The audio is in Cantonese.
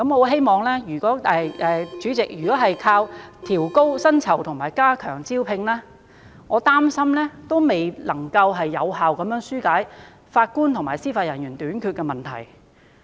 然而，主席，如果單靠加薪及改善服務條件來吸引人才，我擔心仍未能有效紓解法官及司法人員短缺的問題。